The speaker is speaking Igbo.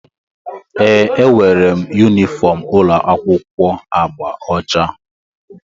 ee, enwere m yunifọm ụlọ akwụkwọ agba ọcha